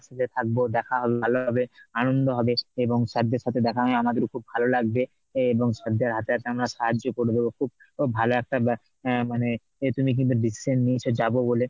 একসাথে থাকবো দেখা হবে ভালো হবে, আনন্দ হবে এবং sir দের সাথে দেখা হয়েও আমাদের খুব ভালো লাগবে এ এবং sir দের হাতে হাতে আমরা সাহায্য করে দেব খুব খুব ভালো একটা ব অ্যাঁ মানে এ তুমি কিন্তু decision নিয়েছো যে যাব বলে